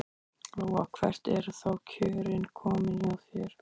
Lóa: Hvert eru þá kjörin komin hjá þér?